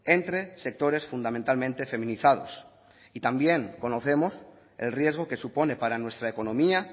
entre sectores fundamentalmente feminizados y también conocemos el riesgo que supone para nuestra economía